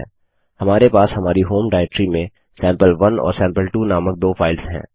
हमारे पास हमारी होम डाइरेक्टरी में सैंपल1 और सैंपल2 नामक दो फाइल्स हैं